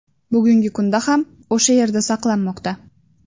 Bugungi kunda ham o‘sha yerda saqlanmoqda.